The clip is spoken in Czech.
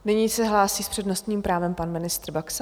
Nyní se hlásí s přednostním právem pan ministr Baxa.